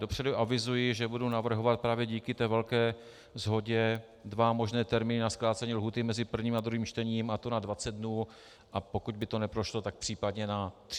Dopředu avizuji, že budu navrhovat právě díky té velké shodě dva možné termíny na zkrácení lhůty mezi prvním a druhým čtením, a to na 20 dnů, a pokud by to neprošlo, tak případně na 30 dnů.